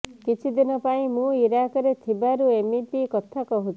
କିଛିଦିନ ପାଇଁ ମୁଁ ଇରାକରେ ଥିବାରୁ ଏମିତି କଥା କହୁଛି